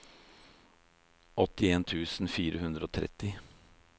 åttien tusen fire hundre og tretti